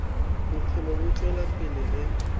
bophelo bo tšwela pele ge